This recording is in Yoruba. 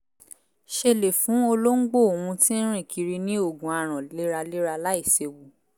ṣe lè fún olóńgbó òun tí ń rìn kiri ni ògùn aràn léraléra láìséwu